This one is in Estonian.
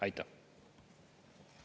Aitäh!